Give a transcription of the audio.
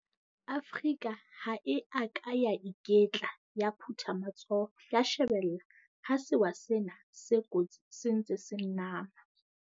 Afrika ha e a ka ya iketla ya phutha matsoho ya shebella ha sewa sena se kotsi se ntse se nama.